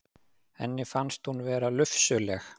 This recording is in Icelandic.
Henni finnst hún vera lufsuleg.